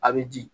A bɛ di